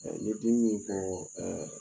ni dimi b'i kan